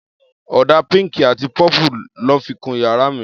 Ọ̀dà pink àti purple lọ́ fi kun yàrá mi.